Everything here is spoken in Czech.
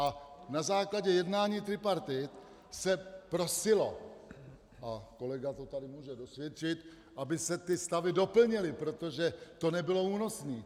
A na základě jednání tripartit se prosilo, a kolega to tady může dosvědčit, aby se ty stavy doplnily, protože to nebylo únosné.